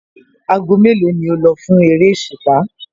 Aago mélòó ni o lọ fún eréṣùpá?